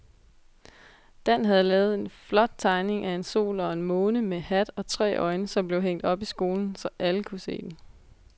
Dan havde lavet en flot tegning af en sol og en måne med hat og tre øjne, som blev hængt op i skolen, så alle kunne se den.